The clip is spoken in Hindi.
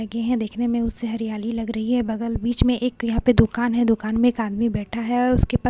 लगे है देखने में उससे हरियाली लग रही है बगल बीच में एक क यहां पे दुकान है दुकान में एक आदमी बैठा है और उसके पास चाय ।